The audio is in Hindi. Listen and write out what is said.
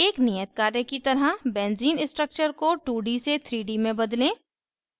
एक नियत कार्य की तरह benzene structure को 2d से 3d में बदलें